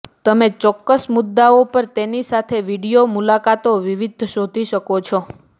તમે ચોક્કસ મુદ્દાઓ પર તેની સાથે વિડિઓ મુલાકાતો વિવિધ શોધી શકો છો